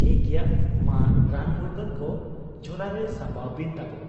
ᱴᱷᱤᱠ ᱜᱮᱭᱟ ᱾ ᱢᱟ ᱨᱟᱱ ᱢᱩᱨᱜᱟᱹᱱ ᱠᱚ ᱡᱷᱚᱞᱟᱨᱮ ᱥᱟᱢᱵᱟᱣ ᱵᱤᱱ ᱛᱟᱵᱚ ᱾